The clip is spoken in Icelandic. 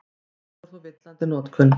Þetta er þó villandi notkun.